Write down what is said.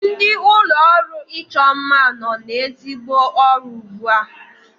Ndị ụlọọrụ ịchọ mma nọ n'ezigbo ọrụ ugbu a